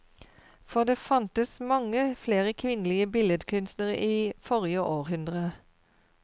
For det fantes mange flere kvinnelige billedkunstnere i forrige århundre.